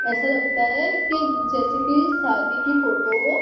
ऐसा लगता है कि जैसे की शादी की फोटो --